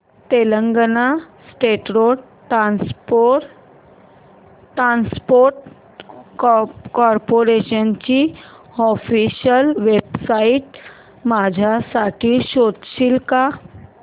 Telangana state road transport corporation ची official website माझ्यासाठी शोधशील का